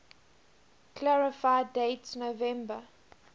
clarify date november